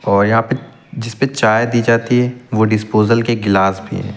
और यहां पे जिस पे चाय दी जाती है वो डिस्पोजल के गिलास भी--